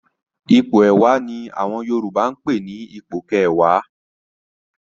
Ipò ẹ̀wá ni àwọn Yorùbá ń pè ní "ipò kẹwàá".